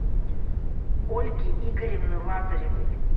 ольги игоревны лазаревой